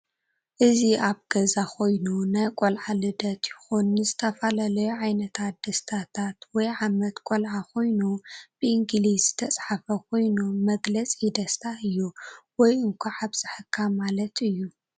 እዚ ኣብ ገዛ ኮይኑ ናይ ቀልዓ ልደት ይኩን ንዝተፈላለዩ ዓይነታት ደስታታት /ዓመት ቆላዓ ኮይኑ ብእንግሊዝ ዝተፃሓፈ ኮይኑ መግለፂ ደስታ እዩ ወይ እንካዕ ኣብ ፀሕካ ማለት እዩ።